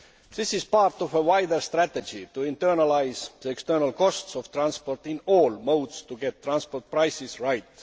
This is part of a wider strategy to internalise the external costs of transport in all modes to get transport prices right.